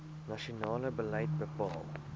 nasionale beleid bepaal